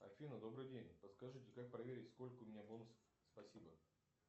афина добрый день подскажите как проверить сколько у меня бонусов спасибо